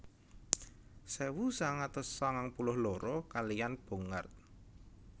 Sewu sangang atus sangang puluh loro kaliyan Bongard